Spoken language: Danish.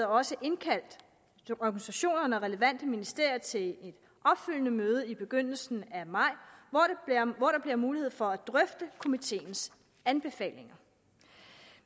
også indkaldt organisationerne og relevante ministerier til et opfølgende møde i begyndelsen af maj hvor der bliver mulighed for at drøfte komiteens anbefalinger